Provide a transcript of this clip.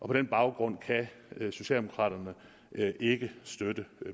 på den baggrund kan socialdemokraterne ikke støtte